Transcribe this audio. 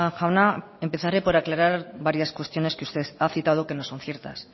jauna empezaré por aclarar varias cuestiones que usted ha citado que no son ciertas